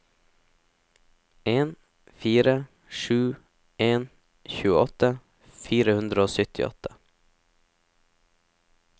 en fire sju en tjueåtte fire hundre og syttiåtte